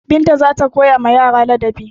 Binta za ta koyawa yara ladabi.